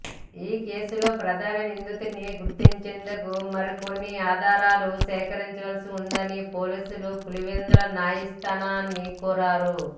ఈ కేసులో ప్రధాన నిందితుణ్ని గుర్తించేందుకు మరికొన్ని ఆధారాలు సేకరించాల్సి ఉందని పోలీసులు పులివెందుల న్యాయస్థానాన్ని కోరారు